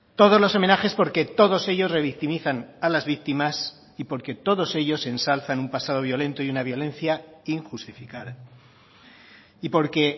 todos los homenajes porque todos ellos revictimizan a las víctimas y porque todos ellos ensalzan un pasado violento y una violencia injustificada y porque